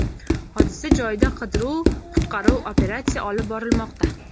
Hodisa joyida qidiruv-qutqaruv operatsiya olib borilmoqda.